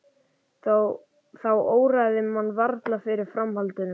Þá óraði mann varla fyrir framhaldinu.